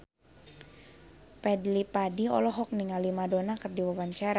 Fadly Padi olohok ningali Madonna keur diwawancara